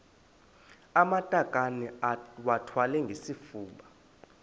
amatakane iwathwale ngesifuba